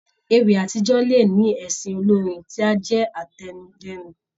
Ewì àtijọ́ le ní ẹsẹ olórin tí á jẹ́ àtẹnudẹ́nu.